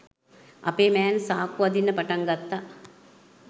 අපේ මෑන් සාක්කු අදින්න පටන් ගත්ත.